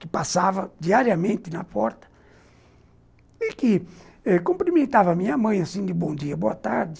que passava diariamente na porta e que eh cumprimentava a minha mãe, assim, de bom dia, boa tarde.